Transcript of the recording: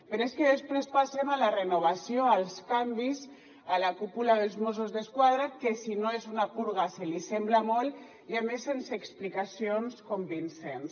però és que després passem a la renovació als canvis a la cúpula dels mossos d’esquadra que si no és una purga se li assembla molt i a més sense explicacions convincents